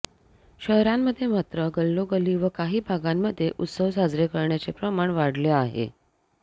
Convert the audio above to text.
शहरांमध्ये मात्र गल्लोगल्ली व काही भागांमध्ये उत्सव साजरे करण्याचे प्रमाण वाढले आहे